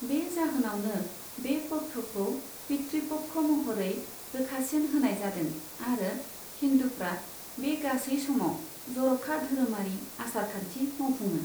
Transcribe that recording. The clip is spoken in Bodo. बे जाहोनावनो बे पक्षखौ पितृ पक्ष महरै रोखासिन होनाय जादों आरो हिन्दुफ्रा बे गासै समाव जर'खा धोरोमारि आसारखान्थि मावफुङो।